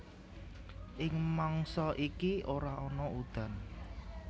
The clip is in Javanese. Ing mangsa iki ora ana udan